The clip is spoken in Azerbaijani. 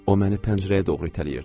O məni pəncərəyə doğru itələyirdi.